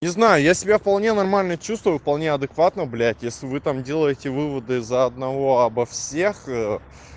не знаю я себя вполне нормально чувствую вполне адекватно блядь если вы там делаете выводы из-за одного обо всех